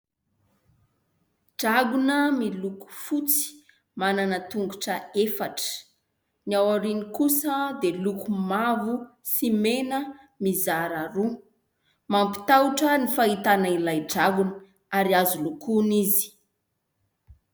Dragona miloko fotsy, manana tongotra efatra, ny aorianany kosa dia loko mavo sy mena mizara roa. Mampitahotra ny fahitana ilay dragona ary azo lokona izy.